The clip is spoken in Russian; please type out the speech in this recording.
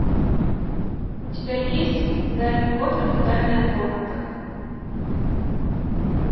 у тебя есть гарри поттер и тайная комната